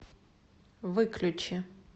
выключи